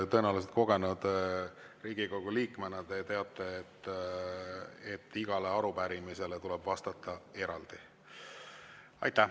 Tõenäoliselt kogenud Riigikogu liikmena te teate, et igale arupärimisele tuleb vastata eraldi.